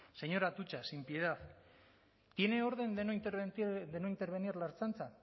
señor atutxa sin piedad tiene orden de no intervenir la ertzaintza